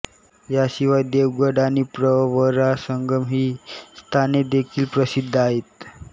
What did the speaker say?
या शिवाय देवगड आणि प्रवरासंगम ही स्थानेदेखील प्रसिद्ध आहेत